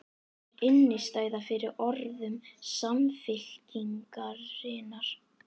Er innistæða fyrir orðum Samfylkingarinnar?